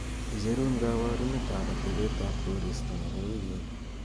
icherun koborunet ab atebet ab koristo nepo wigini